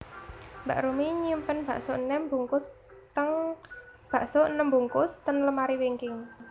Mbak Rumi nyimpen bakso enem bungkus ten lemari wingking